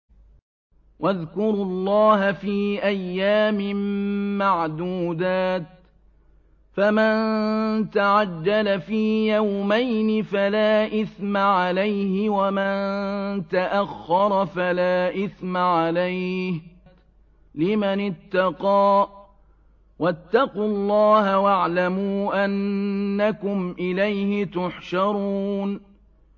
۞ وَاذْكُرُوا اللَّهَ فِي أَيَّامٍ مَّعْدُودَاتٍ ۚ فَمَن تَعَجَّلَ فِي يَوْمَيْنِ فَلَا إِثْمَ عَلَيْهِ وَمَن تَأَخَّرَ فَلَا إِثْمَ عَلَيْهِ ۚ لِمَنِ اتَّقَىٰ ۗ وَاتَّقُوا اللَّهَ وَاعْلَمُوا أَنَّكُمْ إِلَيْهِ تُحْشَرُونَ